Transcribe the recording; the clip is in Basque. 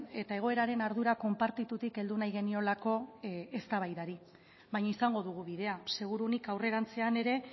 eta egoeraren ardura konpartitutik heldu nahi geniolako eztabaidari baina izango dugu bidea seguruenik aurrerantzean ere